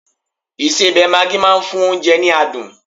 isebẹ maagi ma n fún onje ni adun